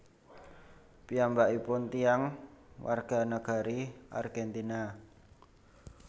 Piyambakipun tiyang warganagari Argentina